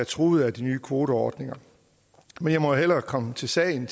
truet af de nye kvoteordninger men jeg må hellere komme til sagen